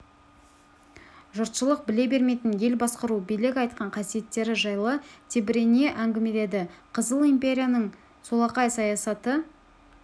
жұртшылық біле бермейтін ел басқару билік айтқан қасиеттері жайлы тебірене әңгімеледі қызыл империяның солақай саясаты